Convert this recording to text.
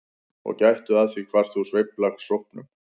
Og gættu að því hvar þú sveifla sópnum.